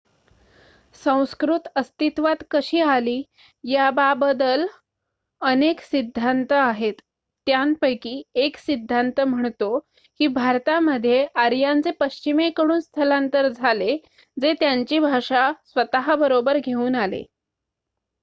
संस्कृत अस्तित्वात कशी आली याबाबदल अनेक सिद्धांत आहेत. त्यांपैकी १ सिद्धांत म्हणतो की भारतामध्ये आर्यांचे पश्चिमेकडून स्थलांतर झाले जे त्यांची भाषा स्वतःबरोबर घेऊन आले